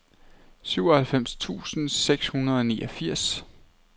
syvoghalvfems tusind seks hundrede og niogfirs